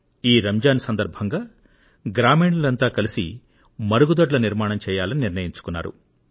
ఈ రంజాన్ సందర్భంగా గ్రామీణులంతా కలిసి మరుగుదొడ్ల నిర్మాణం చేయాలని నిర్ణయించుకున్నారు